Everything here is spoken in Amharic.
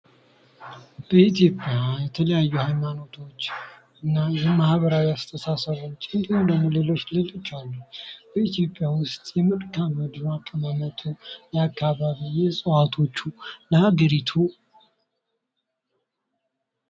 በኢትዮጵያ የተለያዩ ሀይማኖቶች እና የማህበራዊ አስተሳሰቦች እንዲሁም ፅንሰ ሀሳቦች እና ሌሎች በኢትዮጵያ ዉስጥ የመልካምድር አቀማመጡ አካባቢ እፅዋቶቹ እና ለሀገሪቱ .....